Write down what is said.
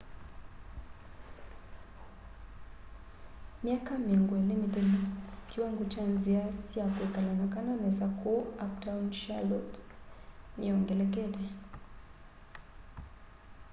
myaka 20 mithelu kiwango kya nzia sya kwikala na kana nesa kuu uptown charlotte niyongelekete